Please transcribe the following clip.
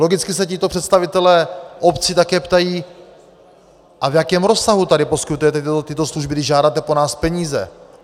Logicky se tito představitelé obcí také ptají: A v jakém rozsahu tady poskytujete tyto služby, když žádáte po nás peníze?